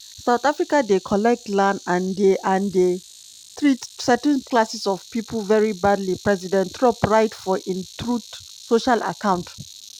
"south africa dey collect land and dey and dey treat certain classes of pipo very badly" president trump write for im truth social account.